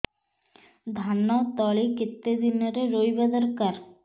ଧାନ ତଳି କେତେ ଦିନରେ ରୋଈବା ଦରକାର